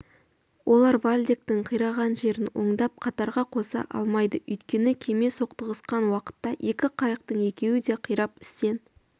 олар вальдектің қираған жерін оңдап қатарға қоса алмайды өйткені кеме соқтығысқан уақытта екі қайықтың екеуі де қирап істен